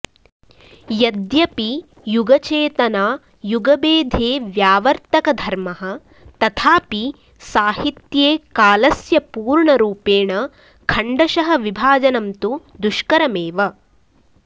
यद्यपि युगचेतना युगभेदे व्यावर्त्तकधर्मः तथापि साहित्ये कालस्य पूर्णरूपेण खण्डशः विभाजनं तु दुष्करमेव